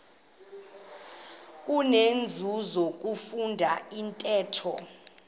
kunenzuzo ukufunda intetho